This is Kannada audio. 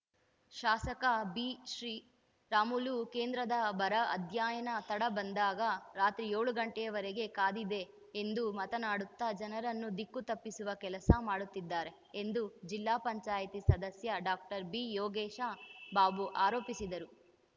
ಶಾಸಕ ಬಿಶ್ರೀರಾಮುಲು ಕೇಂದ್ರದ ಬರ ಅಧ್ಯಯನ ತಂಡ ಬಂದಾಗ ರಾತ್ರಿ ಏಳು ಗಂಟೆಯವರಿಗೆ ಕಾದಿದ್ದೆ ಎಂದು ಮಾತನಾಡುತ್ತಾ ಜನರನ್ನು ದಿಕ್ಕು ತಪ್ಪಿಸುವ ಕೆಲಸ ಮಾಡುತ್ತಿದ್ದಾರೆ ಎಂದುಜಿಲ್ಲಾ ಪಂಚಾಯತಿ ಸದಸ್ಯ ಡಾಕ್ಟರ್ ಬಿಯೋಗೇಶ ಬಾಬು ಆರೋಪಿಸಿದರು